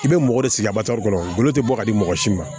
I bɛ mɔgɔ de sigi a bari kɔnɔ golo tɛ bɔ ka di mɔgɔ si ma